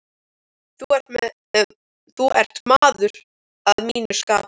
Þú ert maður að mínu skapi.